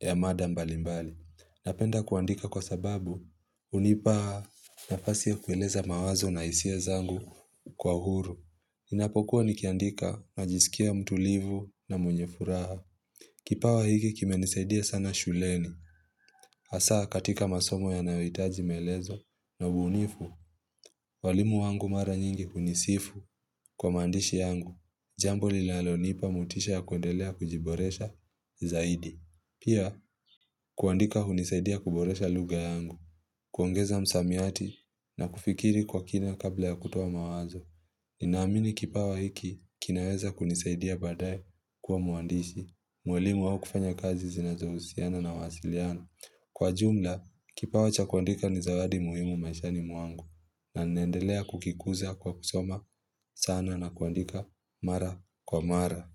ya mada mbali mbali. Napenda kuandika kwa sababu hunipa nafasi ya kueleza mawazo nah isia zangu kwa u huru. Ninapokuwa ni kiandika na jisikia mtulivu na mwenye furaha. Kipawa hiki kime nisaidia sana shuleni, hasa katika masomo yanaoitaji melezo na ubunifu, walimu wangu mara nyingi hunisifu kwa mandishi yangu, jambo lilalonipa motisha ya kuendelea kujiboresha zaidi. Pia, kuandika hunisaidia kuboresha lugha yangu, kuongeza msamiati na kufikiri kwa kina kabla ya kutoa mawazo. Ninaamini kipawa hiki kinaweza kunisaidia baadaye kuwa mwandishi, mwalimu au kufanya kazi zinazohusiana na wasiliana. Kwa jumla, kipawa cha kuandika ni zawadi muhimu maishani mwangu na nendelea kukikuza kwa kusoma sana na kuandika mara kwa mara.